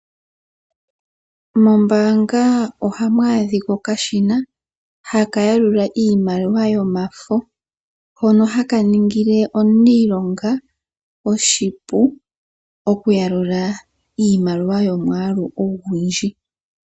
Mombaanga ohamu adhika okashina haka yalula iimaliwa yomafo hono ha ka ningile omuniilonga oshipu oku yalula iimaliwa yomwaalu ogundji.